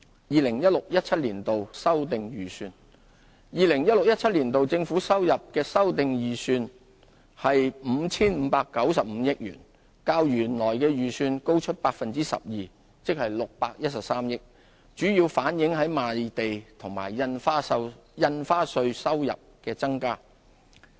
2016-2017 年度政府收入的修訂預算為 5,595 億元，較原來預算高 12%， 即613億元，主要反映賣地和印花稅收入的增加。